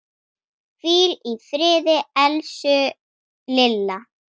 Hvíl í friði, elsku Lilla.